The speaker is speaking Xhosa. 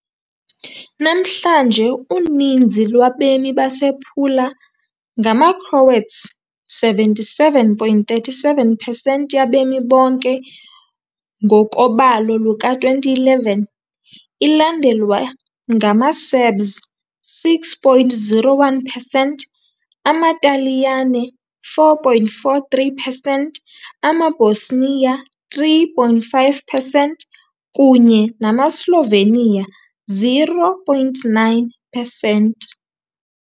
Namhlanje uninzi lwabemi basePula ngamaCroats, 77.37 percent yabemi bonke, ngokobalo luka-2011, ilandelwa ngamaSerbs, 6.01 percent, amaTaliyane, 4.43 percent, amaBosnia, 3, 5 percent, kunye namaSlovenia, 0.9 percent.